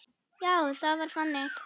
Já, það var þannig.